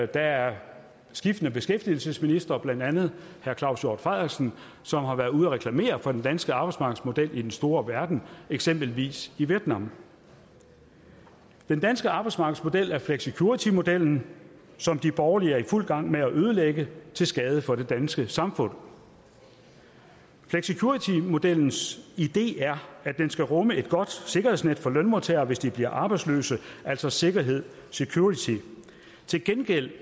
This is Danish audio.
der er skiftende beskæftigelsesministre blandt andet herre claus hjort frederiksen som har været ude at reklamere for den danske arbejdsmarkedsmodel i den store verden eksempelvis i vietnam den danske arbejdsmarkedsmodel er flexicuritymodellen som de borgerlige er i fuld gang med at ødelægge til skade for det danske samfund flexicuritymodellens idé er at den skal rumme et godt sikkerhedsnet for lønmodtagere hvis de bliver arbejdsløse altså sikkerhed security til gengæld